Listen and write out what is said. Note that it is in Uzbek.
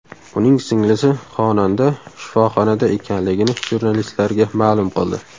Uning singlisi xonanda shifoxonada ekanligini jurnalistlarga ma’lum qildi .